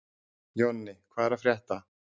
Jonni, hvað er að frétta?